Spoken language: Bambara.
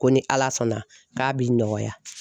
Ko ni Ala sɔnna k'a b'i nɔgɔya.